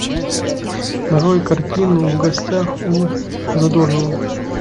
нарой картину в гостях у задорнова